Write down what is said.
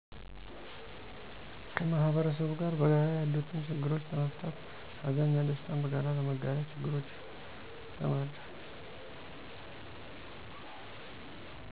ከ ማህበረሰቡ ጋር በጋራ ያሉትን ችግሮች ለመፍታትት ሀዘን እና ደስታን በጋራ ለመጋራት ችግረኞችን ለመርዳት